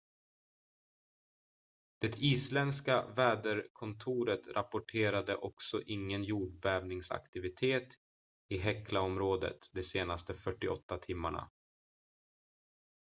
det isländska väderkontoret rapporterade också ingen jordbävningsaktivitet i heklaområdet de senaste 48 timmarna